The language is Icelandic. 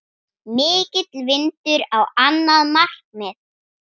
Mikill vindur á annað markið.